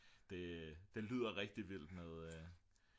det lyder rigtig vildt med